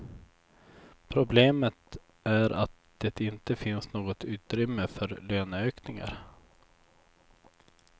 Problemet är att det inte finns något utrymme för löneökningar.